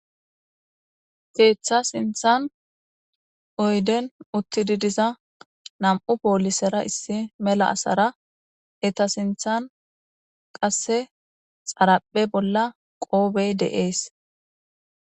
Keetha sinthan oyden utti diza nam'un polisera mela asara eeta sinthan qoobey de'es.